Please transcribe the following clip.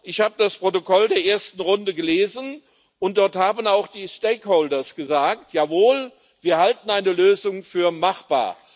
Ich habe das Protokoll der ersten Runde gelesen, und dort haben auch die Stakeholder gesagt Jawohl, wir halten eine Lösung für machbar.